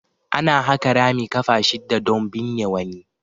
Ana haƙa rami ƙafa shidda don binne wani.